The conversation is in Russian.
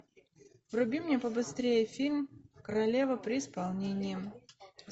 вруби мне побыстрее фильм королева при исполнении